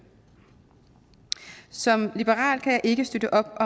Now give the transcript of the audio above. som liberal kan jeg ikke støtte op